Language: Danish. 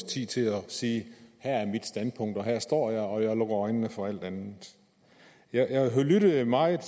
tid til at sige her er mit standpunkt her står jeg og jeg lukker øjnene for alt andet jeg lyttede meget